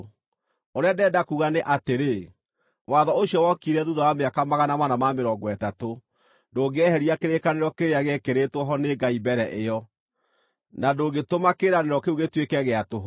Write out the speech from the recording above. Ũrĩa ndĩrenda kuuga nĩ atĩrĩ: Watho, ũcio wokire thuutha wa mĩaka 430, ndũngĩeheria kĩrĩkanĩro kĩrĩa gĩekĩrĩtwo ho nĩ Ngai mbere ĩyo, na ndũngĩtũma kĩĩranĩro kĩu gĩtuĩke gĩa tũhũ.